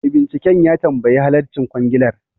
Mai binciken ya tambayi halarcin kwangilar